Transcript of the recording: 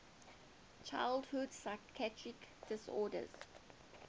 childhood psychiatric disorders